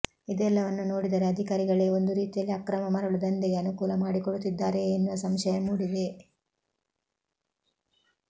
ಇದೆಲ್ಲವನ್ನು ನೋಡಿದರೆ ಅಧಿಕಾರಿಗಳೇ ಒಂದು ರೀತಿಯಲ್ಲಿ ಅಕ್ರಮ ಮರಳು ದಂಧೆಗೆ ಅನುಕೂಲ ಮಾಡಿಕೊಡುತ್ತಿದ್ದಾರೆಯೇ ಎನ್ನುವ ಸಂಶಯ ಮೂಡಿದೆ